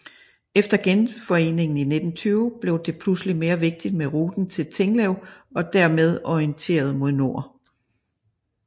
Efter Genforeningen i 1920 blev det pludselig mere vigtigt med ruten til Tinglev og dermed orienteret mod nord